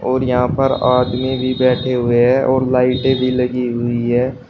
और यहां पर आदमी भी बैठे हुए है और लाइटे भी लगी हुई है।